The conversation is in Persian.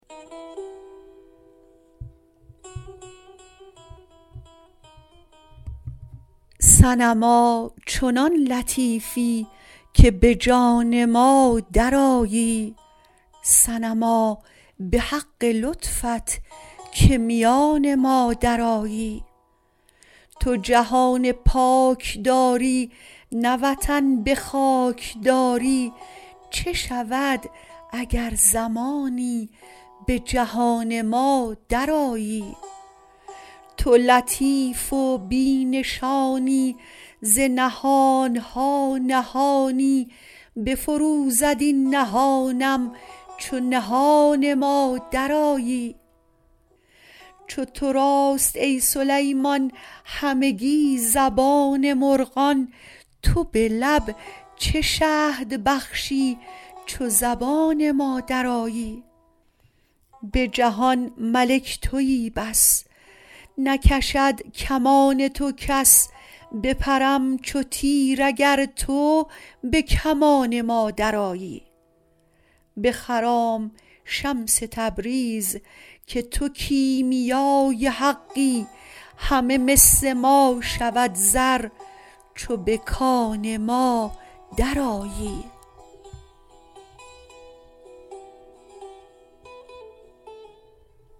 صنما چنان لطیفی که به جان ما درآیی صنما به حق لطفت که میان ما درآیی تو جهان پاک داری نه وطن به خاک داری چه شود اگر زمانی به جهان ما درآیی تو لطیف و بی نشانی ز نهان ها نهانی بفروزد این نهانم چو نهان ما درآیی چو تو راست ای سلیمان همگی زبان مرغان تو به لب چه شهد بخشی چو زبان ما درآیی به جهان ملک توی بس نکشد کمان تو کس بپرم چو تیر اگر تو به کمان ما درآیی بخرام شمس تبریز که تو کیمیای حقی همه مس ما شود زر چو به کان ما درآیی